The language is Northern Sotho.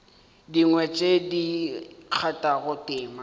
dingwe tše di kgathago tema